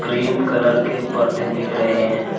Cream colour के पर्दे दिख रहे हैं।